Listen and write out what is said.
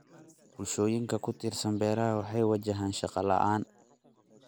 Bulshooyinka ku tiirsan beeraha waxay wajahaan shaqo la'aan.